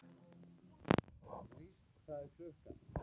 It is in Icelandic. List, hvað er klukkan?